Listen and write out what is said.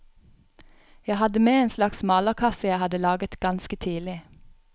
Jeg hadde med en slags malerkasse jeg hadde laget ganske tidlig.